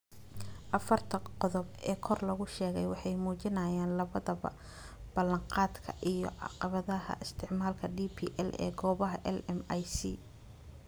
Afarta qodob ee kor lagu sheegay waxay muujinayaan labadaba ballanqaadka iyo caqabadaha isticmaalka DPL ee goobaha LMIC.